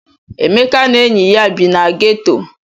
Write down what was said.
Emeka na enyi ya bi na geto.